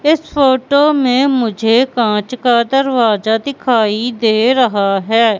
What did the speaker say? इस फोटो में मुझे कांच का दरवाजा दिखाई दे रहा है।